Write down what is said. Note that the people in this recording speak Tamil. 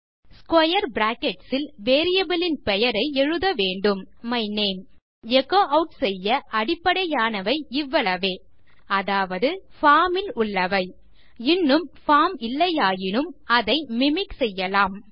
ஸ்க்வேர் பிராக்கெட்ஸ் இல் வேரியபிள் இன் பெயரை எழுத வேண்டும் மை நேம் நான் எச்சோ ஆட் செய்ய அடிப்படையானவை இவ்வளவே அதாவது பார்ம் இல் உள்ளவைஇன்னும் பார்ம் இல்லையாயினும் அதை மிமிக் செய்யலாம்